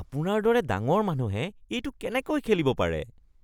আপোনাৰ দৰে ডাঙৰ মানুহে এইটো কেনেকৈ খেলিব পাৰে?